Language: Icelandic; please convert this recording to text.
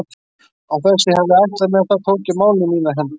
Og án þess að ég hefði ætlað mér það tók ég málin í mínar hendur.